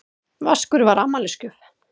Vaskur var afmælisgjöf.